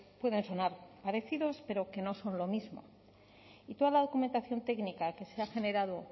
pueden sonar parecidos pero que no son lo mismo y toda la documentación técnica que se ha generado